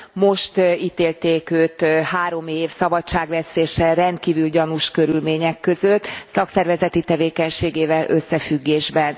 Most ítélték őt három év szabadságvesztésre rendkívül gyanús körülmények között szakszervezeti tevékenységével összefüggésben.